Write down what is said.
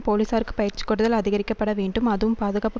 போலீசாருக்கு பயிற்சி கொடுத்தல் அதிகரிக்கப்பட வேண்டும் அதுவும் பாதுகாப்பு